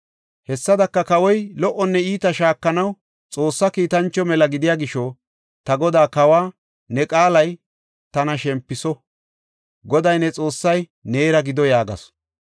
Hessadaka kawoy lo77onne iita shaakanaw Xoossa kiitancho mela gidiya gisho, ta godaa kawa qaalay tana shempiso. Goday, ne Xoossay neera gido” yaagasu.